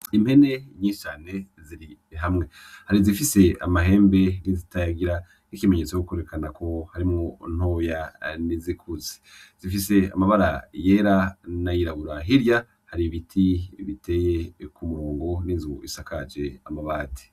Impene nyinshi cane ziri hamwe, hari izifise amahembe n'izitayagira nk'ikimenyetso yo kwerekana ko harimwo ntoya n'izikuze, zifise amabara yera n'ayirabura, hirya hari ibiti biteye ku murongo n'inzu bisakaje amabati.